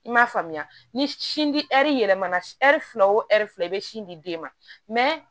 I m'a faamuya ni sin di ɛri yɛlɛmana si ɛri fila wo ɛri fila i bɛ sin di den ma